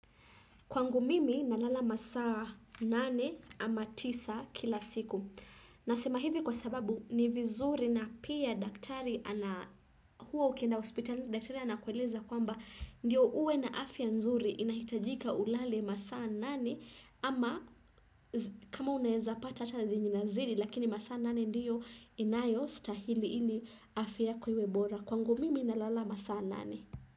Kwangu mimi, nalala masaa nane ama tisa kila siku. Nasema hivi kwa sababu, ni vizuri na pia daktari ana, huwa ukienda hospitali, daktari anakueleza kwamba, ndio uwe na afya nzuri inahitajika ulale masaa nane ama kama unaeza pata hata zenye inazidi, lakini masaa nane ndiyo inayostahili ili afya yako iwe bora. Kwangu mimi, nalala masaa nane.